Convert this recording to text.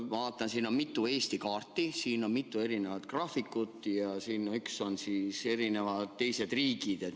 Ma vaatan, et siin on mitu Eesti kaarti, siin on mitu erinevat graafikut, ja üks on teiste riikide kohta.